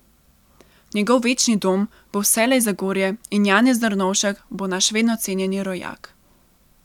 Njegov večni dom bo vselej Zagorje in Janez Drnovšek bo naš vedno cenjeni rojak.